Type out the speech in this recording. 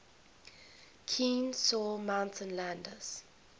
kenesaw mountain landis